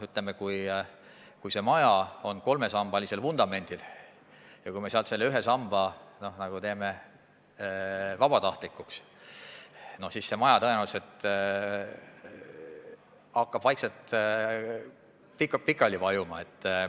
Kui maja püsib kolmesambalisel vundamendil, meie aga teeme ühe samba vabatahtlikuks, siis see maja tõenäoliselt hakkab vaikselt pikali vajuma.